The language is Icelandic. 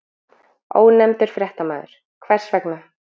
Ónefndur fréttamaður: Hvers vegna?